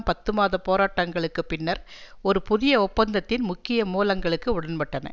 பத்து மாத போராட்டங்களுக்கு பின்னர் ஒரு புதிய ஒப்பந்தத்தின் முக்கிய மூலங்களுக்கு உடன்பட்டன